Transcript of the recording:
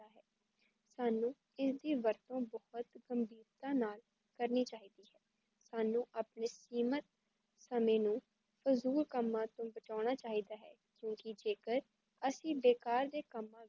ਸਾਨੂੰ ਇਸ ਦੀ ਵਰਤੋਂ ਬਹੁਤ ਸਮਝੋਤਾ ਨਾਲ ਕਰਨੀ ਚਾਹੀਦੀ ਹੈ ਸਾਨੂੰ ਆਪਣੇ ਸੀਮਤ ਸਮੇ ਨੂੰ ਫੀਜੁਲ ਕਮਾਂ ਤੋਂ ਬਚਾਉਣਾ ਚਾਹੀਦਾ ਹੈ, ਕਿਉਂਕੀ ਜੇ ਕਰ ਅਸੀ ਬੇਕਾਰ ਦੇ ਸਮਾਂ